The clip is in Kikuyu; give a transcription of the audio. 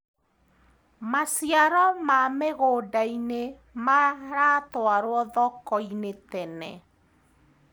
Maciaro ma mĩgũndainĩ maratwarwo thokoinĩ tene.